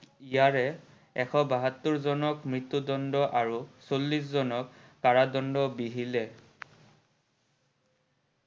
ইয়াৰে এশ বাষৌত্তৰ জনক মৃত্যু দণ্ড আৰু এশ চল্লিশ জনক কাৰাদণ্ড বিহিলে।